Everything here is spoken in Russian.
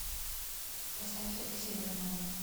поставь алексея романова